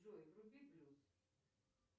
джой вруби плюс